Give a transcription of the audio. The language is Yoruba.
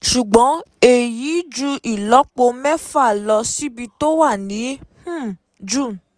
Ṣùgbọ́n èyí ju ìlọ́po mẹ́fà lọ síbi tó wà ní um June.